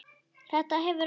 Þetta hefur ekki.?